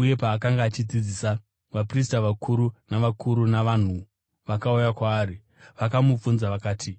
uye paakanga achidzidzisa, vaprista vakuru navakuru vavanhu vakauya kwaari. Vakamubvunza vakati,